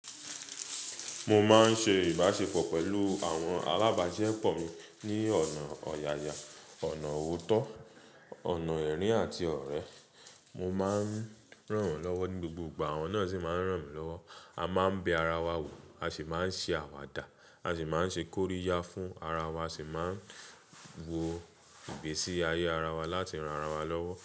Mo máa ń ṣe ìbáṣepọ̀ pẹ̀lú àwọn alábàáṣisepọ̀ mi ní ọ̀nà ọ̀yàyà, ọ̀nà òótọ́, ọ̀nà ẹ̀rín àti ọ̀rẹ́. Mo máa ń ràn wọ́n lọ́wọ́ ní gbogbo ìgbà, wọ́n sì máa ń ràn mí lọ́wọ́. A máa ń bẹ ara wa wò, a sì máa ń ṣe àwàdà, a sì máa ń ṣe kóríyá fún ara wa, a sì máa ń wo ìgbésí ayé ara wa láti ran ara wa lọ́wọ́